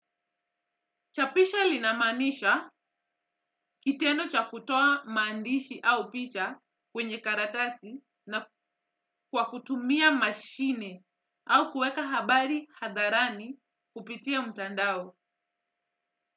Chapisho linamanisha kitendo cha kutoa mandishi au picha kwenye karatasi na kwa kutumia mashine au kueka habari hadharani kupitia mutandao.